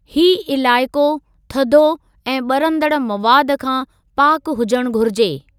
ही इलाइक़ो थधो ऐं ॿरंदड़ मवादु खां पाकु हुजण घुरिजे।